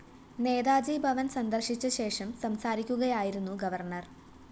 നേതാജി ഭവന്‍ സന്ദര്‍ശിച്ചശേഷം സംസാരിക്കുകയായിരുന്നു ഗവർണർ